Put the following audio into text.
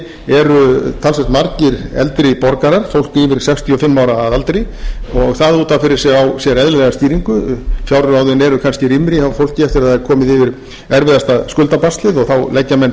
eru talsvert margir eldri borgarar fólk yfir sextíu og fimm ára að aldri og það út af fyrir sig á sér eðlilega skýringu fjárráðin eru kannski rýmri hjá fólki eftir að það er komið yfir erfiðasta skuldabaslið og þá leggja menn